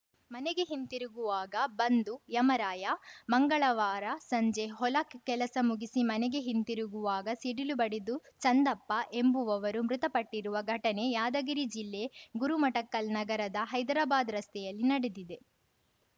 ಮನೆಗೆ ಹಿಂದಿರುಗುವಾಗ ಬಂದು ಯಮರಾಯ ಮಂಗಳವಾರ ಸಂಜೆ ಹೊಲ ಕೆಲಸ ಮುಗಿಸಿ ಮನೆಗೆ ಹಿಂತಿರುಗುವಾಗ ಸಿಡಿಲು ಬಡಿದು ಚಂದಪ್ಪ ಎಂಬುವರು ಮೃತಪಟ್ಟಿರುವ ಘಟನೆ ಯಾದಗಿರಿ ಜಿಲ್ಲೆ ಗುರುಮಠಕಲ್‌ ನಗರದ ಹೈದರಾಬಾದ್‌ ರಸ್ತೆಯಲ್ಲಿ ನಡೆದಿದೆ